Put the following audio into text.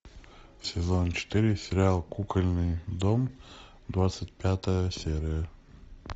сезон четыре сериал кукольный дом двадцать пятая серия